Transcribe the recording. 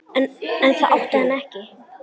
En það átti hann ekki.